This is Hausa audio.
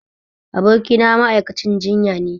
Abokina ma'aikacin jinyane